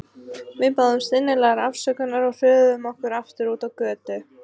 Við báðumst innilegrar afsökunar og hröðuðum okkur aftur út á götu.